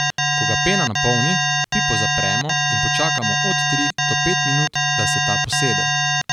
Ko ga pena napolni, pipo zapremo in počakamo od tri do pet minut, da se ta posede.